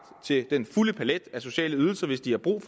til den fulde palet af sociale ydelser hvis de har brug